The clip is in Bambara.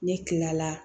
Ne kila la